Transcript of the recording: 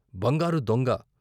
బంగారు దొంగ